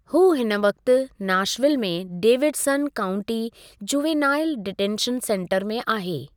हू हिन वक़्ति नाशविल में Davidson County Juvenile Detention Center में आहे।